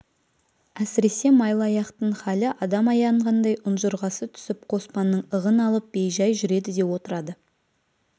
әсіресе майлыаяқтың хәлі адам аяғандай ұнжырғасы түсіп қоспанның ығын алып бей-жай жүреді де отырады